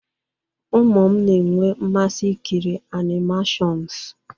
Ụmụ m na-enwe mmasị ikiri animation s